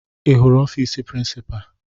Ị hụrụ ọfiisi prịnsịpa?